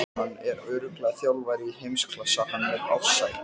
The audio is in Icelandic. Hann er örugglega þjálfari í heimsklassa hann Ársæll.